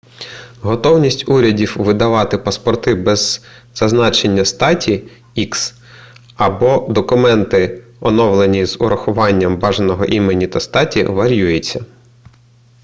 готовність урядів видавати паспорти без зазначення статі x або документи оновлені з урахуванням бажаного імені та статі вар'юється